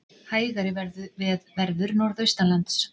Hægari verður norðaustanlands